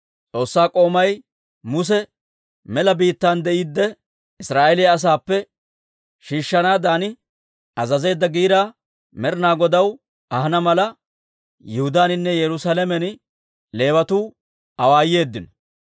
S'oossaa k'oomay Muse mela biittaan de'iidde, Israa'eeliyaa asaappe shiishshanaadan azazeedda giiraa Med'inaa Godaw ahana mala, Yihudaaninne Yerusaalamen Leewatuu awaayeeddino.